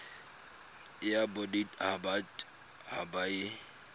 ya bodit habat haba e